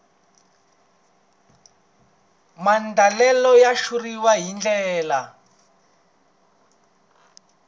maandlalelo ya xitshuriwa hi ndlela